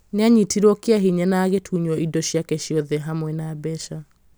nĩ aanyitirũo kĩa hinya na agĩtunywo indo ciake ciothe hamwe na mbeca